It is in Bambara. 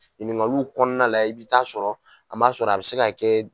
Ɲininkaliw kɔnɔna la i bɛ taa sɔrɔ an b'a sɔrɔ a bɛ se ka kɛ